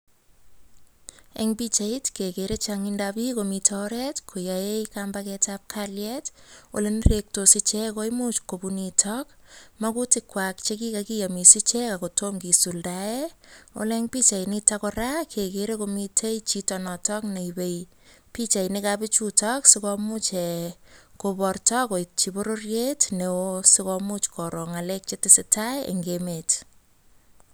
En pichait kekere chongindab biik komiten oret koyoe kampaketab kalyet olenerektos koimuch kopun nitok mokutikwak chekikokiyomis ichek akotom kisuldaen, ole en pichainito kora kekere komiten chito notok neipe pichainikab bichuto sikomuch eeh koporto koityi bororiet neo sikomuch koroo ng'alek chetese tai eng emet.